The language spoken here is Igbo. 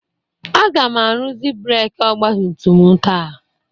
Aga m arụzi breeki ọgba tum tum m taa.